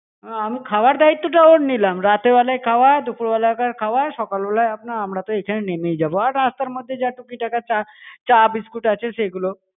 আমি খাবার দায়িত্বটা ওর নিলাম রাতেবেলার খাওয়া দুপুরবেলাকার খাওয়া সকালবেলায় আপনার আমরা তো এখানে নেমেই যাবো আর রাস্তার মধ্যে যা টুকিটাকা চা চা বিস্কুট আছে সেই গুলো